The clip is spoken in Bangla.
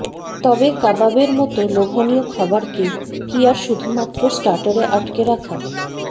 তবে কাবাবের মতো লোভনীয় খাবারকে কি আর শুধুমাত্র স্টার্টারে আটকে রাখা